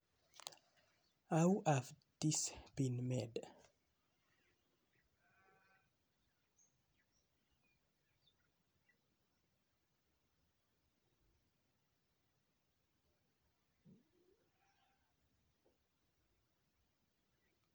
How have this been made?